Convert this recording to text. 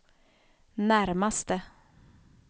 närmaste